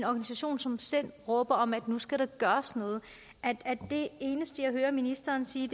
organisation som sind råber om at nu skal der gøres noget at det eneste jeg hører ministeren sige